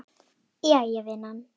Jæja vinan.